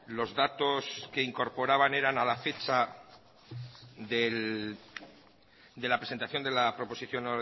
los datos que incorporaban eran a la fecha de la presentación de la proposición